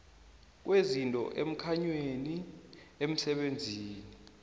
kwezinto emkhanyweni emisebenzini